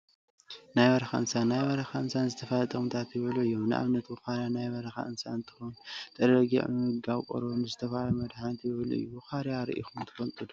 ናይ በረካ እንስሳት ናይ በረካ እንስሳት ንዝተፈላለዩ ጥቅሚታት ይውዕሉ እዮም፡፡ ንአብነት ብዃርያ ናይ በረካ እንስሳ እንትኸውን ንጤለ በጊዕ ብምምጋብ ቆርበቱ ንዝተፈላለየ መድሓኒት ይውዕል እዩ፡፡ ብዃርያ ሪኢኩም ዶ ትፈልጡ?